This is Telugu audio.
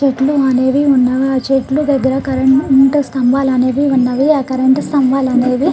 చెట్లు అనేవి ఉన్నవి ఆ చెట్లు దగ్గర కరెంటు స్తంభాలు అనేవి ఉన్నవి ఆ కరెంటు స్తంభాలు అనేవి--